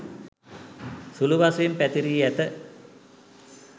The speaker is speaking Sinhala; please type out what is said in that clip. සුළු වශයෙන් පැතිරී ඇත.